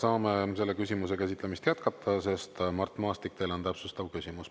Saame selle küsimuse käsitlemist jätkata, sest Mart Maastik, teil on täpsustav küsimus.